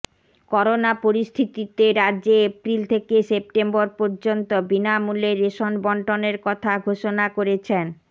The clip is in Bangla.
করোনা পরিস্থিতিতে রাজ্যে এপ্রিল থেকে সেপ্টেম্বর পর্যন্ত বিনামূল্যে রেশন বণ্টনের কথা ঘোষণা করেছেন